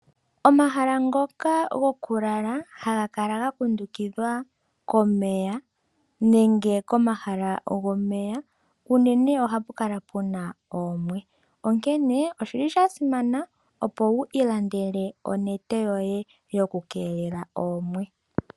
Omahala ngoka goku lala haga kala ga kundukidhwa ko meya unene ohapu kala puna oomwe. Onkene osha simana opo wu ilandele onete yoye yoku keelela oomwe.